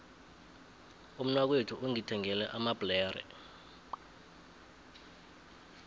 umnakwethu ungithengele amabhlere